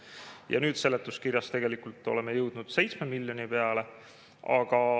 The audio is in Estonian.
Ja nüüd seletuskirjas tegelikult oleme jõudnud 7 miljoni peale.